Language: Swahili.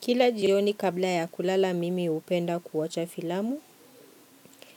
Kila jioni kabla ya kulala mimi hupenda kuwacha filamu,